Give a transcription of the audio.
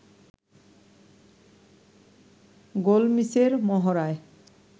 গোল মিসের মহড়ায়